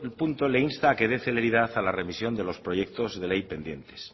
punto le insta a que dé celeridad a la revisión de los proyectos de ley pendientes